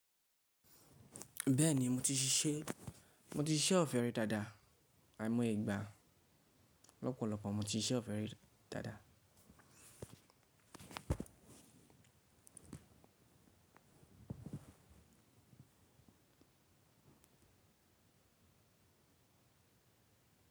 Bẹ́ẹ̀ni mo ti ṣíṣe, mo ti ṣíṣe ọ̀fẹ́ rí dáadáa àìmọye ìgbà lọ́pọ̀lọpọ̀ mo ti ṣíṣe ọ̀fẹ́ rí dáadáa.